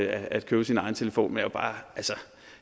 at købe sin egen telefon men